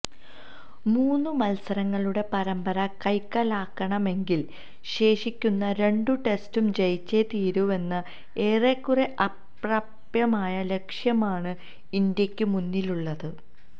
മൂന്നു മല്സരങ്ങളുടെ പരമ്പര കൈക്കലാക്കണമെങ്കില് ശേഷിക്കുന്ന രണ്ടു ടെസ്റ്റും ജയിച്ചേ തീരൂവെന്ന ഏറെക്കുറെ അപ്രാപ്യമായ ലക്ഷ്യമാണ് ഇന്ത്യക്കു മുന്നിലുള്ളത്